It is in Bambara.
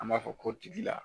An b'a fɔ ko tigila